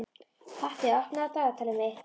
Patti, opnaðu dagatalið mitt.